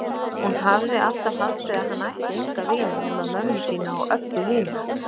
Hún hafði alltaf haldið að hann ætti enga vini nema mömmu sína og Öbbu hina.